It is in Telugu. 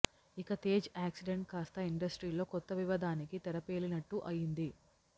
ఇక తేజ్ యాక్సిడెంట్ కాస్త ఇండస్ట్రీలో కొత్త వివాదానికి తెరపేలినట్టు అయింది